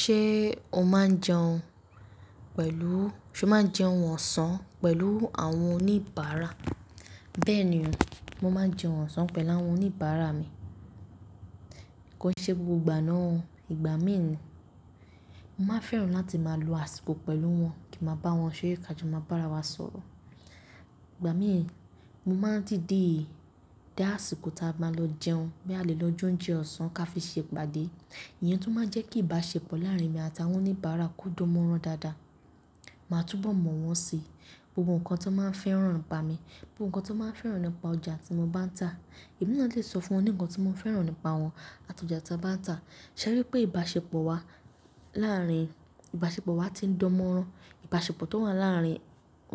Ṣé o máa ń jẹun pẹ̀lú-- ṣe o máa ń jẹun ọ̀sán pẹ̀lú àwọn oníbàárà? Bẹ́ẹ̀ ni, mo máa ń jẹun ọ̀sán pẹ̀lú àwọn oníbàárà mi. Kò ṣe gbogbo ìgbà náà, ìgbà mí ì ni. Mo máa fẹ́ràn láti máa lo àsìkò pẹ̀lú wọn kí a máa bá wọn ṣerè ká jọ máa bá ara wa sọ̀rọ̀. Ìgbà mí ì, mo máa dìde dá àsìkò tí a bá máa lọ jẹun, báálẹ̀ lọ jóúnjẹ ọ̀sán ká fi ṣe ìpàdé. Ìyẹn tó máa ń jẹ́ kí ìbáṣepọ̀ láàárín mi àtàwọn oníbàárà ko dan móran dáadáa. Màá túbọ̀ mọ̀ wọ́n si, gbogbo nǹkan tó máa ń fẹ́ràn ìbá mi, gbogbo nǹkan tó máa ń fẹ́ràn nípa ọjà tí mo bá ń ta. Èmi náà lè sọ fún wọn ní nkàn tí mo fẹ́ràn nípa wọn àti ọjà ta bá ń ta. Ṣẹ̀rí pé ìbáṣepọ̀ wa láàárín, ìbáṣepọ̀ wa ti ń dán mọ́rán, ìbáṣepọ̀ tó wà láàárín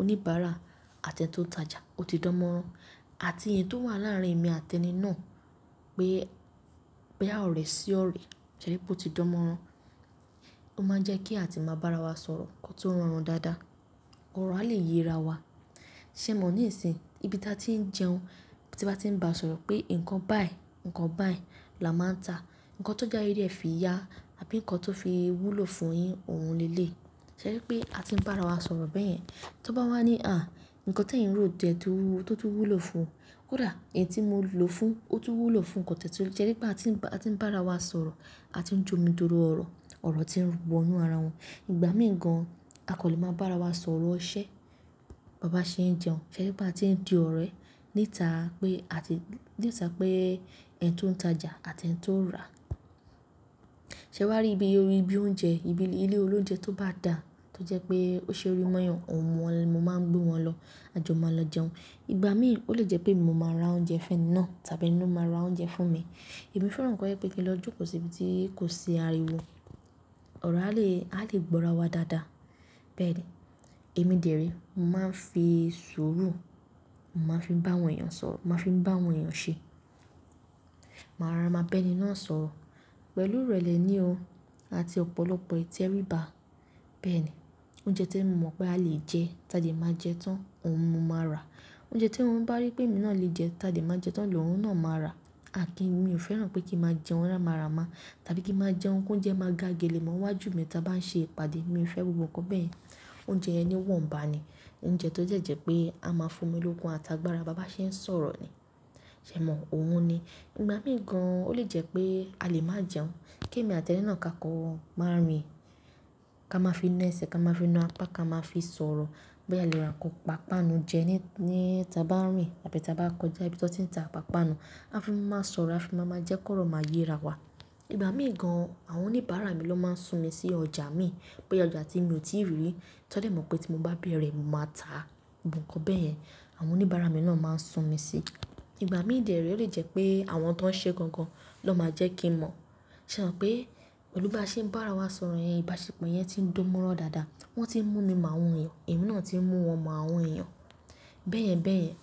oníbàárà àti ẹ́nì tó ń tajà ó ti dán mọ́rán àti èyí tó wà láàárín èmi àti ẹni náà pé, pé a ò rẹ̀ sí ọ̀rẹ̀ ṣẹ̀rí pé ó ti dán mọ́rán. Ó máa ń jẹ́ kí a ti máa bá ara wa sọ̀rọ̀, nǹkan tí ó ń rọrùn dáadáa. Ọ̀rọ̀ a lè yera wa. Sẹ́mọ ní ìsìn, ibi tí a ti ń jẹun, tí a bá ti ń bá sọ̀rọ̀ pé ǹkan báyìí, ǹkan báyìí la máa ń ta, ǹkan tó jái rí ẹ fi ya àbí ǹkan tó fi wúlò fún yin òun le lèyi Ṣẹ̀rí pé a ti ń bá ara wa sọ̀rọ̀ bẹ́yẹn. Tó bá wá ní à, ǹkan ti eyań rò jẹ tó tún wúlò fún, kódà èyí tí mo lò fún ó tún wúlò fún ǹkan tẹ̀yẹ. Ṣẹ̀rí pé a ti ń bá, a ti ń bá ara wa sọ̀rọ̀, a ti ń jómi tóro ọ̀rọ̀, ọ̀rọ̀ tí ń wọ inú ara wọn. Ìgbà mí ì gan, a kò lè máa bá ara wa sọ̀rọ̀ ṣẹ́, bàbá ṣe ń jẹun. Ṣẹ̀rí pé a ti ń di ọ̀rẹ́ níta pé a ti, níta pé ẹ́nì tó ń tajà àti ẹ́nì tó ń rà. Sẹ́wá rí ibi, ibi oúnjẹ, ibi ilé olóúnjẹ tó bá dà tó jẹ́ pé ó ṣe ori mọ́yan, òun mo máa ń gbé wọn lọ a jọ máa lọ jẹun. Ìgbà mí ì ó lè jẹ́ pé mo máa ra oúnjẹ fẹ́́ni naa tábí eni lo máa ra oúnjẹ fún mi. Èmi fẹ́ràn nǹkan to je pé kí n lọ jókòó sí ibi tí kò sí ariwo. Ọ̀rọ̀ a lè, a lè gbó ara wa dáadáa. Bẹ́ẹ̀ ni. Èmi dère mo máa ń fi sùúrù, mo máa ń fi bá àwọn èèyàn sọ̀rọ̀, mo máa ń fi bá àwọn èèyàn ṣe. Màá ràrá máa bẹ́ẹ̀ ni náà sọ̀rọ̀ pẹ̀lú ìrẹ̀lẹ̀ ni o àti ọ̀pọ̀lọpọ̀ ìtẹríba. Bẹ́ẹ̀ ni. Oúnjẹ tí mo mọ̀ pé a lè jẹ ta jẹ́ máa jẹ tán, òun mo máa rà. Oúnjẹ tí òun bá rí pé èmi náà lè jẹ ta jẹ́ máa jẹ tán lọ òun náà máa rà. À kí n mi ò fẹ́ràn pé kí máa jẹun rà màrà má tàbí kí máa jẹun kí ó jẹ́ máa ga gelemọ́ niwájú mi tí a bá ń ṣe ìpàdé. Mi ò fẹ́ gbogbo nǹkan bẹ́ẹ̀. Oúnjẹ yẹn wọ̀nba ni, oúnjẹ tó jẹ́ jẹ́ pé a máa fún omi lógun àtàgbàrà bá bá ṣe ń sọ̀rọ̀ ni. Sẹ́mọ òun ni. Ìgbà mí ì gan, ó lè jẹ́ pé a lè máa jẹun, kí èmi àti ẹni náà ká kọ máa rìn, ká máa fi na ẹsẹ̀, ká máa fi na apá, ká máa fi sọ̀rọ̀. Báálẹ̀ lọ ra ǹkan pàápànu jẹ ní, ní ta bá ń rìn tàbí tí a bá kọjá ibi tí wọ́n ti ń ta pàápànu. A fi máa sọ̀rọ̀, a fi máa jẹ́ kó rọ̀ máa yera wa. Ìgbà mí ì gan àwọn oníbàárà mi ló máa ń sùn mí sí ọjà mi. Pe ọjà tí mi ò tíì rí, tọ́ dẹ̀ mọ̀ pé tí mo bá bẹ̀rẹ̀ mo máa ta. Gbogbo nǹkan bẹ́ẹ̀ yẹn, àwọn oníbàárà mi náà máa ń sùn mí sí. Ìgbà mí dèrí ó lè jẹ́ pé àwọn tó ń ṣe gangan ló máa jẹ́ kí n mọ̀. Sẹ́mọ pé pẹ̀lú bá ṣe ń bá ara wa sọ̀rọ̀ yẹn, ìbáṣepọ̀ yẹn ti ń dán mọ́rán dáadáa. Wọ́n tí ń mú mi mọ àwọn èèyàn, èmi náà tí ń mú wọn mọ àwọn èèyàn. Bẹ́ẹ̀yẹn bẹ́ẹ̀yẹn,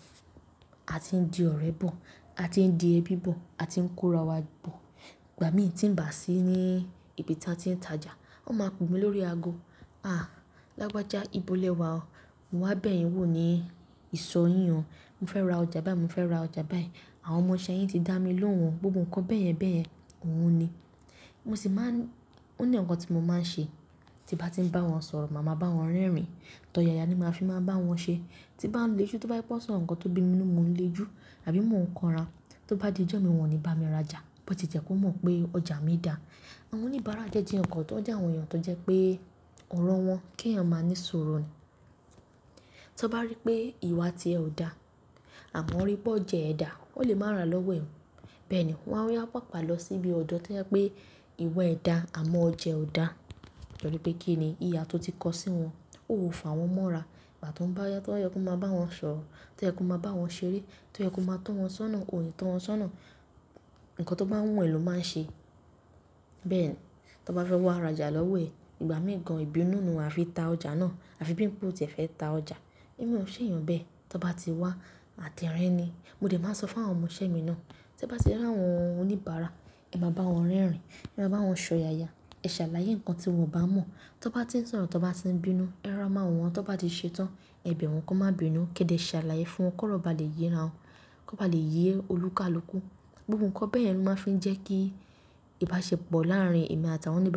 a ti ń di ọ̀rẹ́ bọ̀, a ti ń di ẹbí bọ̀, a ti ń kó ara wa bọ̀. Ìgbà mí tí ń bà sí ní ibi tí a ti ń tajà, wọ́n máa pè mí lórí ago. À, lágbaja ibo lẹ wá o? Mo wá bẹ̀ yín wò ní ìsọ̀ yín o. Mo fẹ́ ra ọjà báyìí, mo fẹ́ ra ọjà báyìí. Àwọn ọmọ ìṣẹ́ yín ti dá mi lóhùn. Gbogbo nǹkan bẹ́ẹ̀yẹn bẹ́ẹ̀yẹn òun ni. Mo sì máa ń-- ó ní nǹkan tí mo máa ń ṣe. Tí bá ti ń bá wọn sọ̀rọ̀, màá bá wọn rẹ́rìn. Tọ̀yàyà ni màá fi máa ń bá wọn ṣe. Tí bá ń le ijù tí wọ́n bá ti pọ́n sọ̀rọ̀, ǹkan tó bí mi nínú mò ń le ijù àbí mò ń kọran. Tí ó bá di ijó mi wọ́n ò ní bá mi rajà, bó ti jẹ́ kó mọ̀ pé ọjà mi dà. Àwọn oníbàárà jẹ́ di nǹkan tó já àwọn èèyàn tó jẹ́ pé ọ̀rọ̀ wọn kí èèyàn máa ní suuru ni. Tọ́ bá rí pé ìwà tí ẹ ò dá àmọ́ o rí bó ọ̀ jẹ ẹ dà, wọ́n lè má ra lọ́wọ́ ẹ. Bẹ́ẹ̀ ni, wọ́n á yá pàápàá lọ sí ibi ọ̀dọ́ tí wọ́n pé ìwà ẹ dà àmọ́ ọ̀ jẹ ò dà. Tori pé kí ni ìha tó ti kọ sí wọn. Ó ò fàwọn mọ́ra. Ìgbà tó bá yá, tó yẹ kó máa bá wọn sọ̀rọ̀, tó yẹ kó máa bá wọn ṣeré, tó yẹ kó máa tọ́ wọn sọ́nà, òni tọ́ wọn sọ́nà. Ǹkan tó bá wùn è ló máa ń ṣe. Bẹ́ẹ̀ ni. Tọ́ bá fẹ́ wá rajà lọ́wọ́ ẹ, ìgbà mí ì gan ìbínú nù a fi ta ọjà náà. A fi bíi pe ò tí ẹ fẹ́ ta ọjà. Èmi ò ṣèyàn bẹ́ẹ̀. Tọ́ bá ti wá, àtẹrínì ni. Mo dè máa sọ fún àwọn ọmọ ìṣẹ́ mi náà. Tẹ́ bá ṣe rí àwọn oníbàárà, ẹ má bá wọn rẹ́rìn, ẹ má bá wọn ṣọ̀yàyà, ẹ ṣàlàyé ǹkan tí wọn ò bá mọ̀. Tọ́ bá ti ń sọ̀rọ̀, tọ́ bá ti ń bínú, ẹ ràrá mọ́ àwọn. Tọ́ bá ti ṣe tán, ẹ bẹ̀ wọ́n kó má bínú. Kẹ́dẹ̀ ṣàlàyé fún wọn kó bá lè yera wọn, kó bá lè yé olúká lókú. Gbogbo nǹkan bẹ́ẹ̀ ni wọ́n máa ń fi ń jẹ́ kí ìbáṣepọ̀ láàárín èmi àtàwọn oníbà.